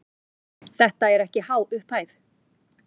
Þetta er ekki há upphæð.